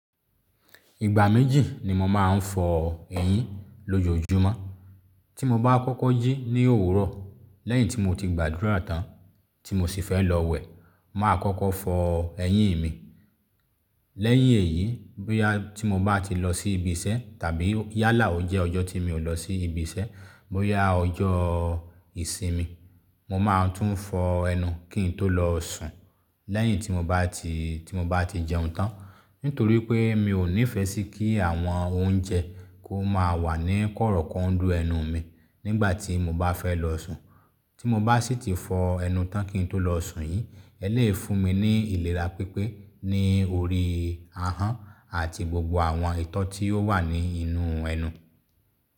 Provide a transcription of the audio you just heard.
Ìgbà méjì ni mo máa ń fọ eyín lójoójúmọ́. Tí mo bá kọ́kọ́ jí ní òwúrọ̀ lẹ́yìn tí mo ti gbàdúrà tán tí mo sì fẹ́ lọ wẹ̀, mà á kọ́kọ́ fọ eyín mi. Lẹ́yìn èyí, bóyá tí mo bá ti lọ sí ibi iṣẹ́ tàbí yálà ò jẹ́ ọjọ́ tí mi ò lọ sí ibi iṣẹ́, bóyá ọjọ́ ìsinmi, mo máa tún fọ ẹnu kín tó lọ sùn lẹ́yìn tí mo bá ti, tí mo bá ti jẹun tán. Nítorí pé mi ò nífẹẹ sí kí àwọn oúnjẹ kó máa wà ní kọ́rọ́kọ́ ń dú ẹnu mi nígbà tí mo bá fẹ́ lọ sùn. Tí mo bá sì ti fọ ẹnu tán kí n tó lọ sùn yí, ẹ lè yí fún mi ní ìlera pípé ní orí ahọ́n àti gbogbo àwọn ìtọ́ tí ó wà ní inú ẹnu.